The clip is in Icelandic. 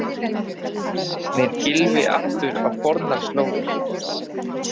Snýr Gylfi aftur á fornar slóðir?